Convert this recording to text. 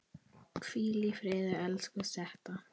Hvíl í friði, elsku Setta.